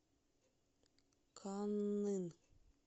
каннын